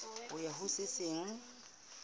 ho ya ho se seng